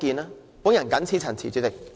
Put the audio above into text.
主席，我謹此陳辭。